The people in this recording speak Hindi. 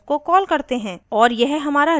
और यह हमारा return statement है